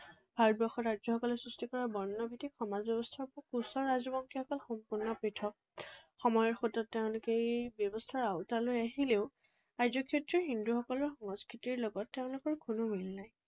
ভাৰতবৰ্ষৰ ৰাজ্যসকলে সৃষ্টি কৰা বৰ্ণভিত্তিক সমাজ ব্যৱস্থাৰ পৰা কোচ ৰাজবংশীসকল সম্পূৰ্ণ পৃথক। সময়ৰ সোঁতত তেওঁলোক এই ব্যৱস্থাৰ আওতালৈ আহিলেও আৰ্য, ক্ষত্ৰিয়, হিন্দুসকলৰ সংস্কৃতিৰ লগত তেওঁলোকৰ কোনো মিল নাই।